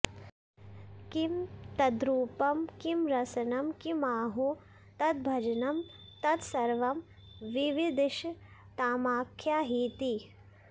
किं तद्रूपं किं रसनं किमाहो तद्भजनं तत्सर्वं विविदिषतामाख्याहीति